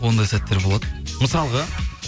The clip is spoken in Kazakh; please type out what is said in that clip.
ондай сәттер болады мысалға